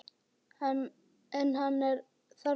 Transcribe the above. En hann er þarna.